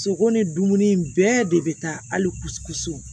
Sogo ni dumuni in bɛɛ de bɛ taa hali so